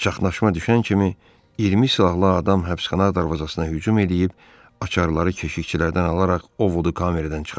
Çaxnaşma düşən kimi 20 silahlı adam həbsxana darvazasına hücum eləyib açarları keşiyçilərdən alaraq Orodu kameradan çıxaracaq.